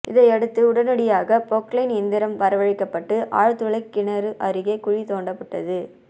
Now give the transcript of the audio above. இதனையடுத்து உடனடியாக பொக்லைன் இயந்திரம் வரவழைக்கப்பட்டு ஆழ்துளை கிணறு அருகே குழி தோண்டப்பட்டது